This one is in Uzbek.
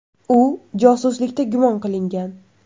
U josuslikda gumon qilingan.